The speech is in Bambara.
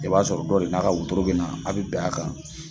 I b'a sɔrɔ dɔ re n'a ka woroto bina a bi bɛn a kan